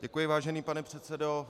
Děkuji, vážený pane předsedo.